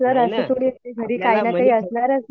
नाही नं आपल्याला